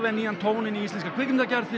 nýjan tón í íslenskri kvikmyndalist